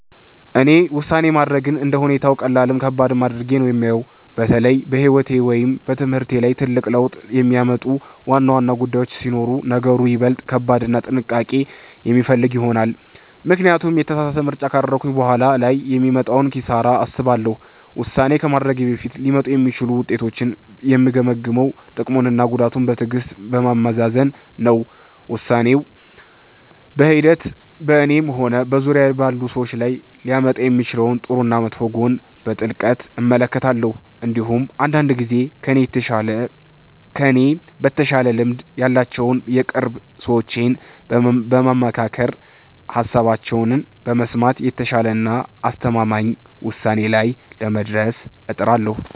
እኔ ውሳኔ ማድረግን እንደ ሁኔታው ቀላልም ከባድም አድርጌ ነው የማየው። በተለይ በሕይወቴ ወይም በትምህርቴ ላይ ትልቅ ለውጥ የሚያመጡ ዋና ዋና ጉዳዮች ሲሆኑ ነገሩ ይበልጥ ከባድና ጥንቃቄ የሚፈልግ ይሆናል፤ ምክንያቱም የተሳሳተ ምርጫ ካደረግኩ በኋላ ላይ የሚመጣውን ኪሳራ አስባለሁ። ውሳኔ ከማድረጌ በፊት ሊመጡ የሚችሉትን ውጤቶች የምገመግመው ጥቅሙንና ጉዳቱን በትዕግሥት በማመዛዘን ነው። ውሳኔው በሂደት በእኔም ሆነ በዙሪያዬ ባሉ ሰዎች ላይ ሊያመጣ የሚችለውን ጥሩና መጥፎ ጎን በጥልቀት እመለከታለሁ። እንዲሁም አንዳንድ ጊዜ ከእኔ በተሻለ ልምድ ያላቸውን የቅርብ ሰዎቼን በማማከርና ሃሳባቸውን በመስማት የተሻለና አስተማማኝ ውሳኔ ላይ ለመድረስ እጥራለሁ።